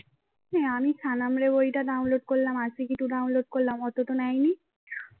এই আমি সানাম রে বইটা download করলাম আশিকি two download করলাম ওতো তো নেইনি